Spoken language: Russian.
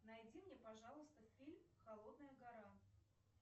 найди мне пожалуйста фильм холодная гора